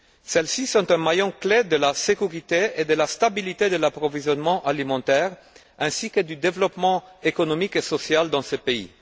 Celles ci sont un maillon clé de la sécurité et de la stabilité de l'approvisionnement alimentaire ainsi que du développement économique et social dans ce pays.